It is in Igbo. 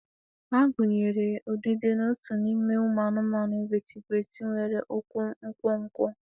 A gụnyere udide na ọtú n'ime anụmanụ invatibrati nwere ụkwụ nkwonkwo